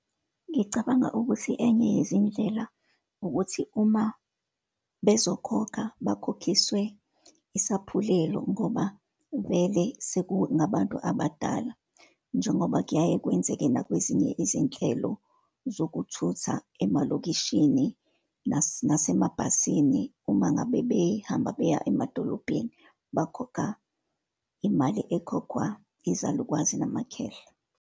Ngicabanga ukuthi enye yezindlela, ukuthi uma bezokhokha, bakhokhiswe isaphulelo, ngoba vele sekungabantu abadala, njengoba kuyaye kwenzeke nakwezinye izinhlelo zokuthutha emalokishini nasemabhasini. Uma ngabe behamba beya emadolobheni, bakhokha imali ekhokhwa izalukwazi namakhehla.